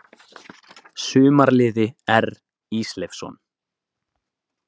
Sumarliði R Ísleifsson.